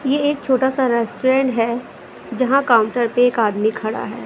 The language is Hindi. ये एक छोटा सा रेस्टोरेंट है जहां काउंटर पे एक आदमी खड़ा है।